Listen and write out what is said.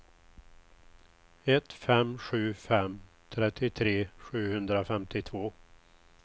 ett fem sju fem trettiotre sjuhundrafemtiotvå